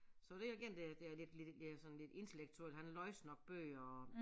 Så det er igen det er det er lidt ja sådan lidt intellektuelt han læser nok bøger og